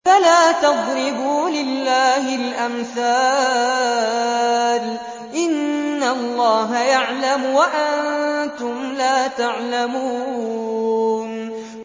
فَلَا تَضْرِبُوا لِلَّهِ الْأَمْثَالَ ۚ إِنَّ اللَّهَ يَعْلَمُ وَأَنتُمْ لَا تَعْلَمُونَ